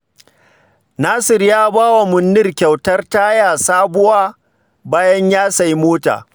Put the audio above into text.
Nasir ya ba wa Manniru kyautar taya sabuwa bayan ya sayi mota